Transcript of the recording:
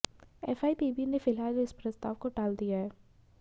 FIPB ने फिलहाल इस प्रस्ताव को टाल दिया है